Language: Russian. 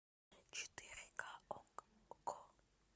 четыре ка окко